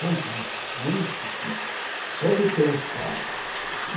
Foi triste, muito triste, só de pensar.